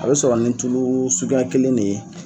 A be sɔrɔ nin tulu suguya kelen de ye